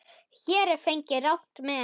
Hér er farið rangt með.